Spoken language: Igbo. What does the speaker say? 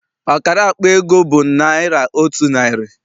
Ọkara akpa ego bụ naịra otu narị.